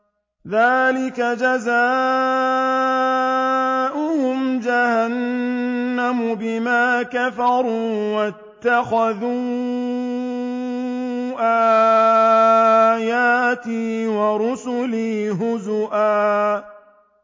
ذَٰلِكَ جَزَاؤُهُمْ جَهَنَّمُ بِمَا كَفَرُوا وَاتَّخَذُوا آيَاتِي وَرُسُلِي هُزُوًا